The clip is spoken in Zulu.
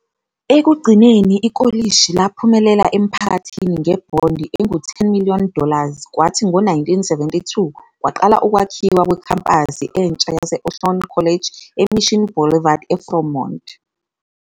Ekugcineni ikolishi laphumela emphakathini ngebhondi engu-10 million dollars kwathi ngo-1972 laqala ukwakhiwa kwekhempasi entsha yase-Ohlone College eMission Boulevard eFremont.